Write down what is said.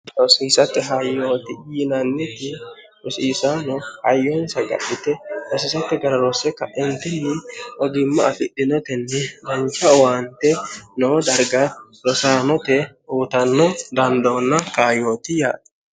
rosiisatti hayyooti yiinanniti rosiisaano hayyoonsa gadite rosiisatti gararoosse ka'entinni ogimma afidhinetenni danca owaante no darga rosaanote uutanno dandoonna kayooti yaati